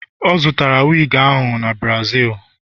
o zụtara wigi ahụ n' Brazil